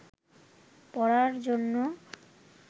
পড়ার জন্যে